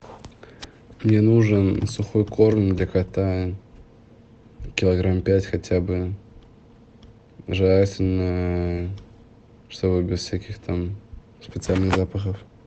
мне нужен сухой корм для кота килограмм пять хотя бы желательно чтобы без всяких там специальных запахов